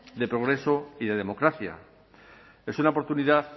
de progreso y de democracia es una oportunidad